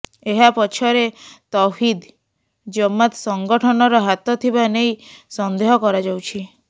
ଏହା ପଛରେ ତୌହିଦ ଜମାତ ସଂଗଠନର ହାତ ଥିବା ନେଇ ସନ୍ଦେହ କରାଯାଉଛି